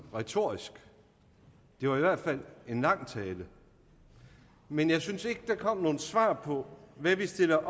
retorisk det var i hvert fald en lang tale men jeg synes ikke der kom nogen svar på hvad vi stiller